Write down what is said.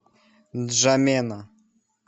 нджамена